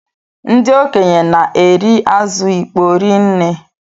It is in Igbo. Ndị okenye na-eri azụ ịkpọ ri nne.